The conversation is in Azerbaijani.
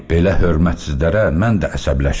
Belə hörmətsizlərə mən də əsəbləşirəm.